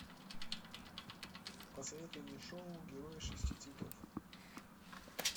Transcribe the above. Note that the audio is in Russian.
посоветуй мне шоу герои шести цветов